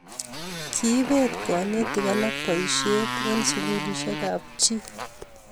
kiibet konetik alak boisiet eng' sukulisiekab chi